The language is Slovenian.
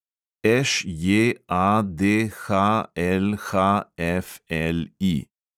ŠJADHLHFLI